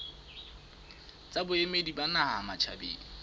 tsa boemedi ba naha matjhabeng